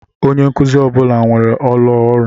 Onye nkuzi ọ bụla nwere ụlọ ọrụ.